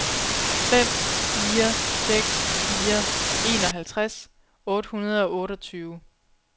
fem fire seks fire enoghalvtreds otte hundrede og otteogtyve